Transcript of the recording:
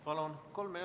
Palun!